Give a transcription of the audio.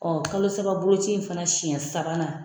kalosababoloci in fana siɲɛ sabanan.